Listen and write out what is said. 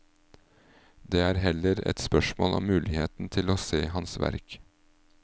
Det er heller et spørsmål om muligheten til å se hans verk.